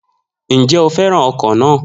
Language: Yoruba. Njẹ o fẹràn ọkọ na?